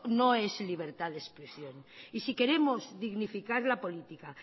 no es libertad de expresión y si queremos dignificar la política